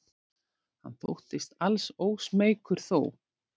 Hann þóttist alls ósmeykur þó.